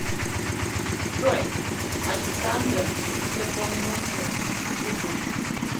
джой александра непомнучая ютуб